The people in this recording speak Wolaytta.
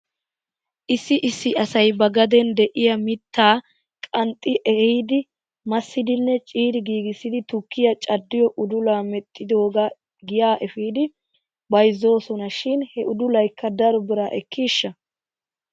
Issi issi asay ba gaden de'iyaa mittaa qanxxi ehiidi massidinne ciiri giigissidi tukkiyaa caddiyoo udulaa medhdhidoogaa giyaa efidi bayzzoosona shin he udulaykka daro biraa ekkiishsha?